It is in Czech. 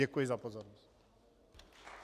Děkuji za pozornost.